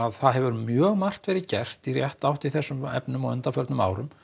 það hefur mjög margt verið gert í rétta átt í þessum efnum á undanförnum árum